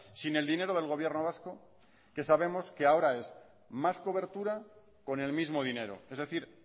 sin el dinero del gobierno vasco que sabemos que ahora es más cobertura con el mismo dinero es decir